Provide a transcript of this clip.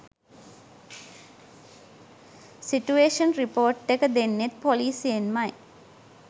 Situation report එක දෙන්නෙත් පොලිසියෙන්මයි.